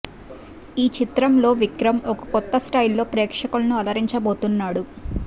ఈ చిత్రం లో విక్రమ్ ఒక కొత్త స్టైల్ లో ప్రేక్షకులను అలరించబోతున్నాడు